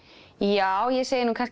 já ég segi nú kannski